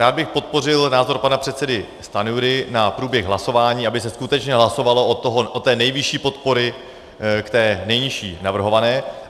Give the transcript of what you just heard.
Rád bych podpořil názor pana předsedy Stanjury na průběh hlasování, aby se skutečně hlasovalo od té nejvyšší podpory k té nejnižší navrhované.